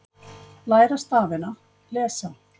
Læra stafina- lesa